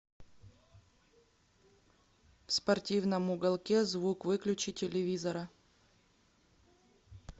в спортивном уголке звук выключи телевизора